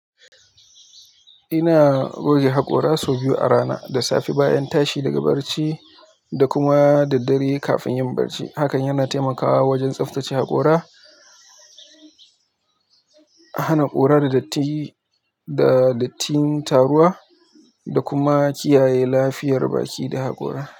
Ina goge haƙora sau biyu a rana, da safe bayan tashi daga barci da kuma da dare kafin yin barci. Hakan yana taimakawa wajen tsaftace haƙora, hana ƙura datti da dattin taruwa da kuma kiyaye lafiyar baki da haƙora.